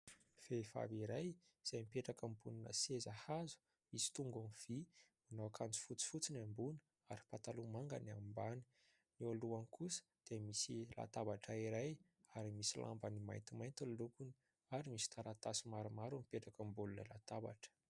Vehivavy iray izay mipetraka ambonina seza hazo misy tongony vy, manao akanjo fotsifotsy ny ambony ary pataloha manga ny ambany. Eo alohany kosa dia misy latabatra iray ary misy lambany maintimainty lolokony ary misy taratasy maromaro mipetraka eo ambonin'ilay latabatra.